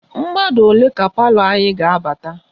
Mmadụ ole ka palọ anyị ga-abata?